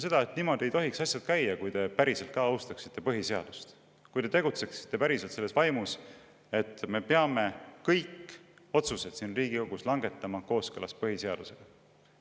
Ütlen seda, et niimoodi ei tohiks asjad käia, kui te päriselt ka austaksite põhiseadust, kui te tegutseksite päriselt selles vaimus, et me peame kõik otsused siin Riigikogus langetama kooskõlas põhiseadusega.